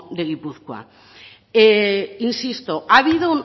de gipuzkoa insisto ha habido